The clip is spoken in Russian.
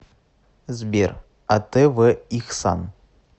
сбер а тэ вэ ихсан